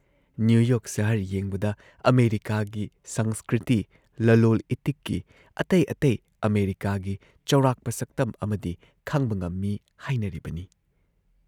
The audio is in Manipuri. ꯅ꯭ꯌꯨ ꯌꯣꯔꯛ ꯁꯍꯔ ꯌꯦꯡꯕꯗ ꯑꯃꯦꯔꯤꯀꯥꯒꯤ ꯁꯪꯁꯀ꯭ꯔꯤꯇꯤ, ꯂꯂꯣꯜ ꯏꯇꯤꯛꯀꯤ, ꯑꯇꯩ ꯑꯇꯩ ꯑꯃꯦꯔꯤꯀꯥꯒꯤ ꯆꯥꯎꯔꯥꯛꯄ ꯁꯛꯇꯝ ꯑꯃꯗꯤ ꯈꯪꯕ ꯉꯝꯃꯤ ꯍꯥꯏꯅꯔꯤꯕꯅꯤ ꯫